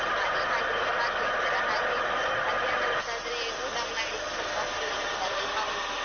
ಉಳಿದಹೊತ್ತು phone ಮಾಡಿದ್ರೆ ಅವರು busy ಇರ್ತಾರೆ phone receive ಮಾಡಲ್ಲಾ ಹಾಗೆಯೆಲ್ಲ ಬಾಕಿ ಆಗ್ತಾರೆ. ಹಾಗೆ ಮಧ್ಯಾಹ್ನ ಹೊತ್ತಾದ್ರೆ ಊಟ ಮಾಡಿ ಸ್ವಲ್ಪ free ಇರ್ತಾರಲ್ಲಾ.